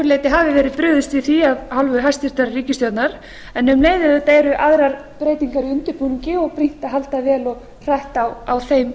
leyti hafi verið brugðist við því af hálfu hæstvirtrar ríkisstjórnar en um leið auðvitað eru aðrar breytingar í undirbúningi og brýnt að halda vel og hratt á þeim